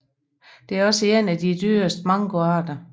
Det er også en af de dyreste mangoarter